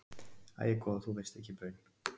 Æi góða þú veist ekki baun.